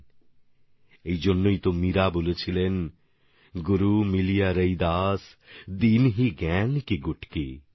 আর সেজন্যই মীরাজি বলেছিলেন গুরু মিলিয়া রৈদাস দীনহীন জ্ঞান কি গুটকি